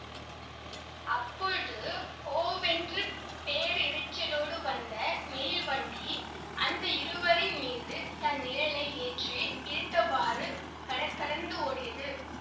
அப்பொழுது ஹோவென்று பேரிரைச்சலோடு வந்த மெயில்வண்டி அந்த இருவரின் மீது தன் நிழலை ஏற்றி இழுத்தவாறு கடகடத்து ஓடியது